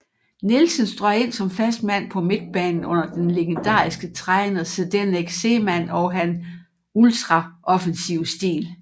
Nielsen strøg ind som fast mand på midtbanen under den legendariske træner Zdeněk Zeman og han ultraoffensive stil